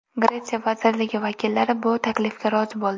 Gretsiya vazirligi vakillari bu taklifga rozi bo‘ldi.